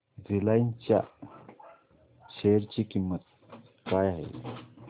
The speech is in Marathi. रिलायन्स च्या शेअर ची किंमत काय आहे